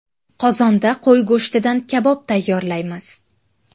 Qozonda qo‘y go‘shtidan kabob tayyorlaymiz.